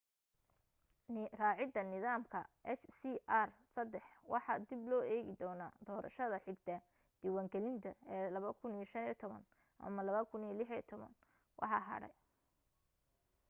raacida nidaamka hjr-3 waxaa dib loo eegi doona doorashada xigta diiwan gelinta ee 2015 ama 2016 waxa hadhay